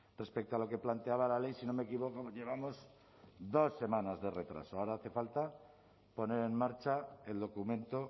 respecto a lo que planteaba la ley si no me equivoco llevamos dos semanas de retraso ahora hace falta poner en marcha el documento